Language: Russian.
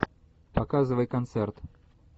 показывай концерт